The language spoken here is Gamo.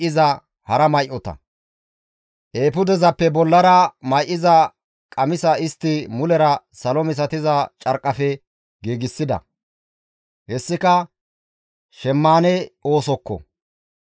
Eefudezappe bollara may7iza qamisa istti mulera salo misatiza carqqafe giigsida; hessika shemmaane oosokko.